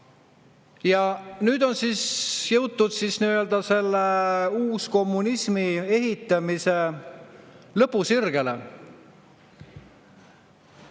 Ja nüüd on siis selle uuskommunismi ehitamisega lõpusirgele jõutud.